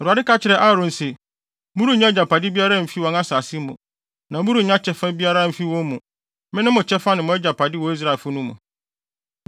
Awurade ka kyerɛɛ Aaron se, “Morennya agyapade biara mfi wɔn asase mu, na morennya kyɛfa biara mfi wɔn mu; mene mo kyɛfa ne mo agyapade wɔ Israelfo no mu.